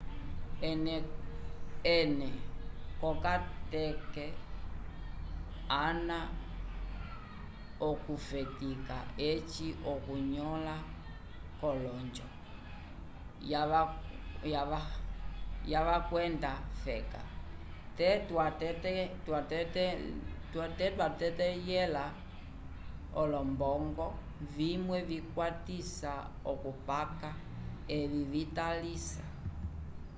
ene ko kateke ana vokufetika eci okunyola kolonjo ya vakweda feka te twatetelhẽla olombongo vimwe vikwatisa okukapa evi vitalalisa